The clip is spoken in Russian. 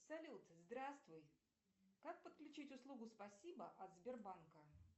салют здравствуй как подключить услугу спасибо от сбербанка